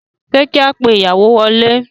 Ṣé kí a pe ìyàwó wọlé?